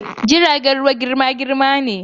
jiragen ruwa girma-girma ne.